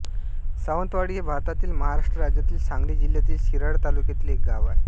सावंतवाडी हे भारतातील महाराष्ट्र राज्यातील सांगली जिल्ह्यातील शिराळा तालुक्यातील एक गाव आहे